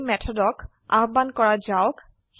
এই মেথডক আহবান কৰা যাওক